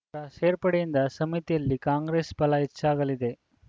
ರ ಸೇರ್ಪಡೆಯಿಂದ ಸಮಿತಿಯಲ್ಲಿ ಕಾಂಗ್ರೆಸ್‌ ಪಲ ಹೆಚ್ಚಾಗಲಿದೆ